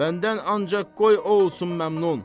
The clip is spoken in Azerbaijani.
Məndən ancaq qoy o olsun məmnun.